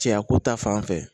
Cɛya ko ta fanfɛ